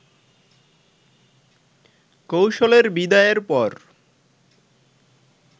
কৌশলের বিদায়ের পর